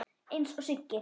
Eins og Siggi.